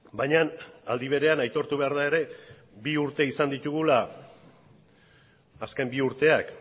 baina aldi berean aitortu behar da ere bi urte izan ditugula azken bi urteak